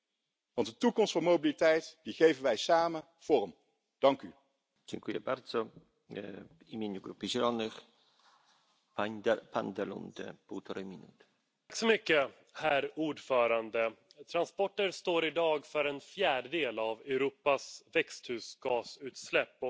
por una movilidad más verde, más sostenible, más humana, impulsando la bicicleta, impulsando poner al peatón en el centro de las ciudades y proyectar las ciudades de manera que se incentive el uso del transporte público para conectarse con otros territorios. Desde luego es algo que no debería ser solamente para el año 2050, sino que es urgente y debe ser ya.